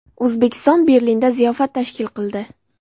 O‘zbekiston Berlinda ziyofat tashkil qildi.